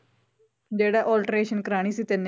ਜਿਹੜਾ alteration ਕਰਵਾਉਣੀ ਸੀ ਤੈਨੇ